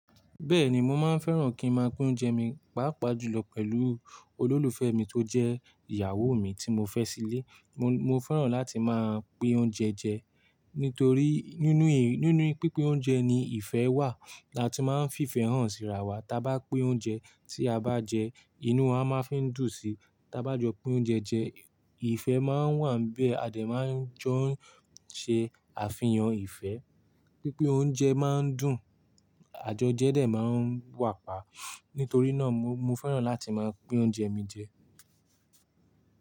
Bẹ́ẹ̀ni, mo máa ń fẹ́ràn kí n máa pín oúnjẹ mi, pàápàá jùlọ pẹ̀lú olólùfẹ́ mi tó jẹ́ ìyàwó mi tí mo fẹ́ sílé. Mo, mo fẹ́ràn láti máa pín oúnjẹ jẹ nítorí nínú, nínú pínpín oúnjẹ ni ìfẹ́ wà. La tí máa ń fi ìfẹ́ hàn síra wa. Ta bá pín oúnjẹ tí a bá jẹ, inú wa máa ń fi dùn sí. Ta bá jọ pín oúnjẹ jẹ, ìfẹ́ máa ń wà bí adẹ̀ máa ń jọ ṣe àfihàn ìfẹ́. Pínpín oúnjẹ máa ń dùn, àjọjẹ́ dẹ̀ máa ń wà pa. Nítorí náà mo, mo fẹ́ràn láti máa pín oúnjẹ mi jẹ.